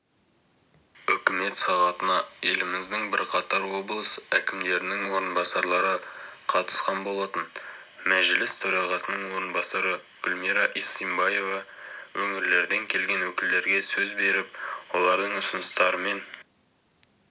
үкімет сағатына еліміздің бірқатар облыс әкімдерінің орынбасарлары қатысқан болатын мәжіліс төрағасының орынбасары гүлмира исимбаева өңірлерден келген өкілдерге сөз беріп олардың ұсыныстарымен